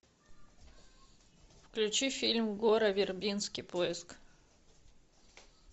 включи фильм гора вербински поиск